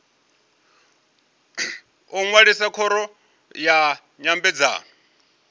u ṅwalisa khoro ya nyambedzano